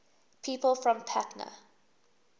people from patna